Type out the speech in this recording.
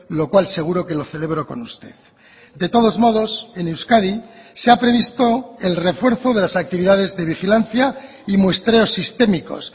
lo cual seguro que lo celebro con usted de todos modos en euskadi se ha previsto el refuerzo de las actividades de vigilancia y muestreos sistémicos